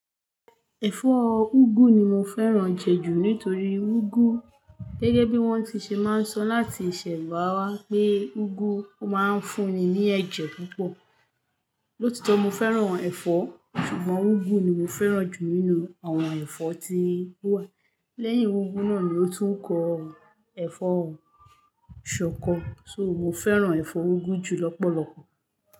Ẹ̀fọ́ úgú ni mo fẹ́ràn jẹ ju nítorí úgú gẹ́gẹ́ bí wọ́n ti ṣe máa ń sọ láti ìṣẹ́bà wa pé úgú máa ń fún ni ní ẹ̀jẹ̀ púpọ̀. Lóòtọ́ mo fẹ́ràn ẹ̀fọ́ ṣùgbọ́n úgú ni mo fẹ́ràn jù nínú àwọn ẹ̀fọ́ tí ó wà. Lẹ́yìn úgú náà ni ó tún kọ ẹ́fọ́ ṣọkọ so mo fẹ́ràn ẹ̀fọ́ úgú jù lọ́pọ̀lọpọ̀.